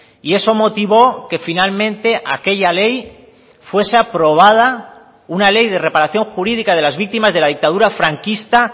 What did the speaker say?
y eso motivó que finalmente aquella ley fuese aprobada una ley de reparación jurídica de las víctimas de la dictadura franquista